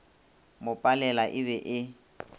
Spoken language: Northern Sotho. mo palela e be e